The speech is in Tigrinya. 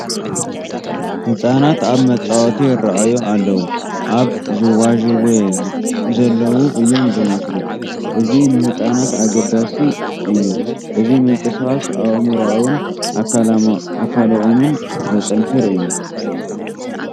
ህፃናት ኣብ መፃወቲ ይርአዩ ኣለዉ፡፡ ኣብ ዥዋዥዌ ዘለዉ እዮም ዝመስሉ፡፡ እዚ ንህፃናት ኣገዳሲ እዩ፡፡ እዚ ምንቅስቓስ ኣእምሮኦምን ኣካሎምን ዘጥንክር እዮ፡፡